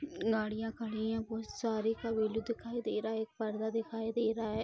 गाड़ियाँ खड़ी है बहुत सारी दिखाई दे रहा है एक पर्दा दिखाई दे रहा है।